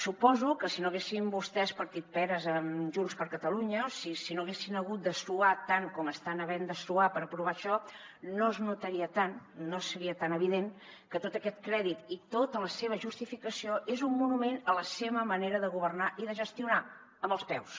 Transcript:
suposo que si no haguessin vostès partit peres amb junts per catalunya si no haguessin hagut de suar tant com estan havent de suar per aprovar això no es notaria tant no seria tan evident que tot aquest crèdit i tota la seva justificació és un monument a la seva manera de governar i de gestionar amb els peus